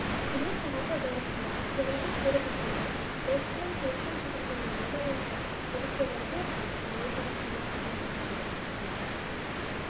үкімет сағаты барысында сенатор серік ақылбай басшысынан халықтың шағымдануына байланысты полицейлерге арнайы таяқшаны қайтаруды сұрады деп